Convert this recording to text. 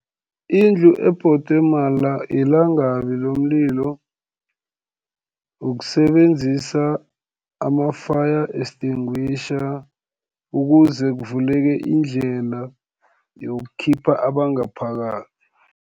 Indlu ebhodwe yilangabi lomlilo, ukusebenzisa ama-fire extinguisher, ukuze kuvuleke indlela yokukhipha abangaphakathi.